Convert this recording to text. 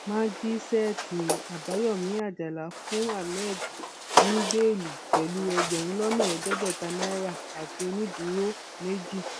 májíṣẹẹtì àbáyọmí àjàlá fún hammed ní bẹẹlí pẹlú ẹgbẹrún lọnà ẹẹdẹgbẹta náírà àti onídùúró méjì